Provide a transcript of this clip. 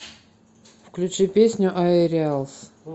включи песню аэриалс